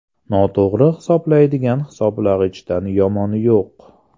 Noto‘g‘ri hisoblaydigan hisoblagichdan yomoni yo‘q.